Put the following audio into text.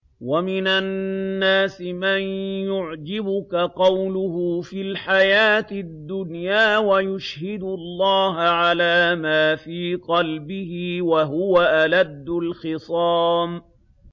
وَمِنَ النَّاسِ مَن يُعْجِبُكَ قَوْلُهُ فِي الْحَيَاةِ الدُّنْيَا وَيُشْهِدُ اللَّهَ عَلَىٰ مَا فِي قَلْبِهِ وَهُوَ أَلَدُّ الْخِصَامِ